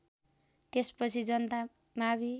त्यसपछि जनता मावि